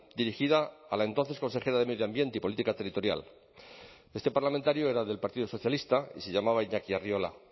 dirigida a la entonces consejera de medio ambiente y política territorial este parlamentario era del partido socialista y se llamaba iñaki arriola